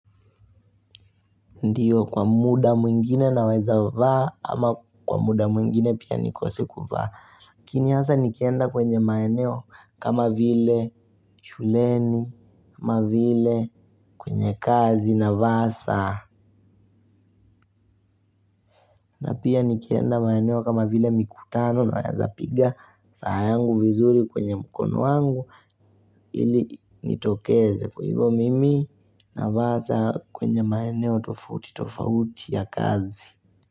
Ndio kwa muda mwingine naweza vaa ama kwa muda mwingine pia nikose kuvaa Kinyasa nikienda kwenye maeneo kama vile shuleni, kama vile kwenye kazi na vaa sa. Na pia nikienda maeneo kama vile mikutano naweza piga saa yangu vizuri kwenye mkono wangu. Ili nitokeze kwa hivo mimi navaa saa kwenye maeneo tofauti tofauti ya kazi.